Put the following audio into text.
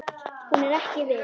Hún er ekki viss.